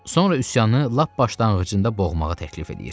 sonra üsyanı lap başlanğıcında boğmağı təklif eləyir.